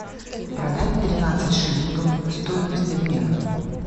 продать тринадцать шиллингов стоимость обмена